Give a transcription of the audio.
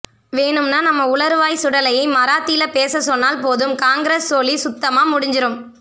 வேணும்னா நம்ம உளறுவாய் சுடலையை மராத்தில பேச சொன்னால் போதும் காங்கிரஸ் சோலி சுத்தமா முடிஞ்சுரும்